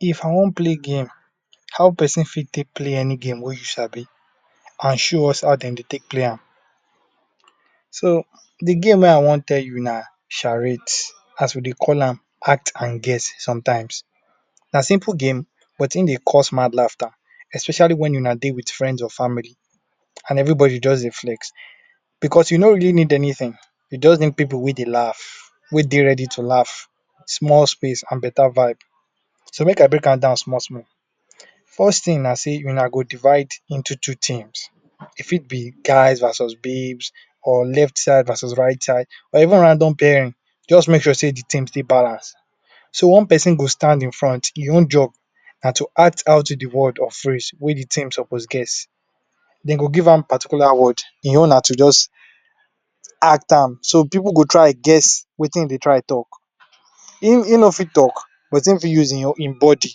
If I wan play game how person fit talk play game wey you sabi and show us how dem Dey take play am so de game wey I wan tell you na charate as we Dey call am act and guess sometimes na simple game but im dey cost mad laughter especially wen wuna Dey with friends or family and everybody just Dey flex because you no really need anything you just need pipu wey Dey laugh wey Dey ready to laugh small space and betta vibe so make I break am down small small first thing na Dey wunna go divide into teams e fit be guys versus babes or left side versus right side or even random paring just make sure sey de thing Dey balance so one person go stand in from im own job na to act out de word or phrase wey de team suppose guess dem go give am particular word im own na to just act am so pipu go try guess wetin him Dey try talk im no fit talk but im fit use im body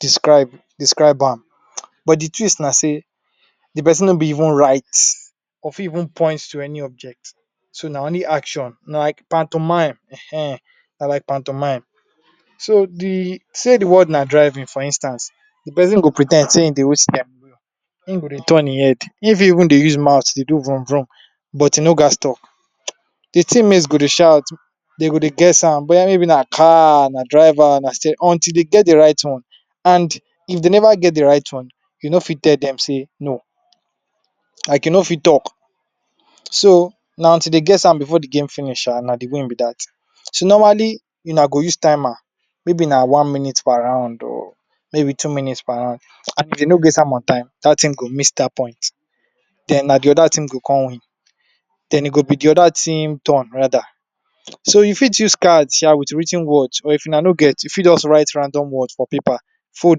describe am but de twist na sey de person no fit even write or fit no fit point any object so na only action na like so de say de word na driving for instance de person go pre ten d sey im dey hold staring I’m go Dey turn im head im fit even Dey use mouth Dey do vroom vroom but e no gats talk de team mates go Dey shout Dey go Dey guess am wether maybe na car am driver na stairing all dis once until Dey get de right one and if dem never get de right one you no fit tell dem sey no like you no fit talk so na to Dey guess am before de game finish so na de game be dat so normally wunna go use timer maybe na one minute per round or two minutes per round dat team go miss dat point den na de oda team go come win e go be de other team turn rather so you fit use card sha with writ ten words or wunna no get you fit just write random words for paper fold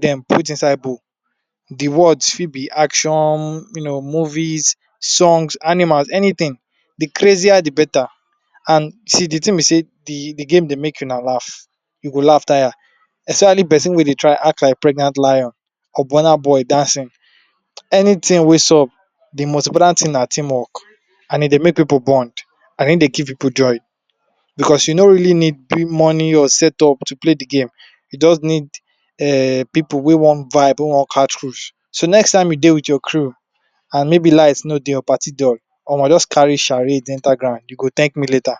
dem put inside bowl de words fit be action you know movies songs animals anything de crazier de better and de thing be sey de game Dey make wunna laugh you go laugh tire especially de person wey Dey try act like pregnant lion or burna boy dancing anything wey sup de most important thing na team work and e Dey make pipu bound and im Dey give pipu joy because you no really need money or set up to play de game e just need pipu wey wan vibe wey wan catch cruise so next time you Dey with your crew and maybe light no Dey or party dull omo just carry charade enter ground you go thank me later